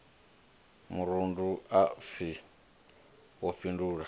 murundu ha pfi wo fhindulela